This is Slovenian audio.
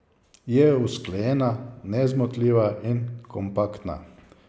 Je usklajena, nezmotljiva in kompaktna.